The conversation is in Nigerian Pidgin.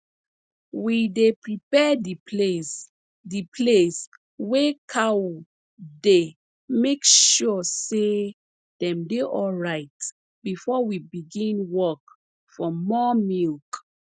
we dey prepare de place de place wey cow dey make sure say dem dey alright before we begin work for more milk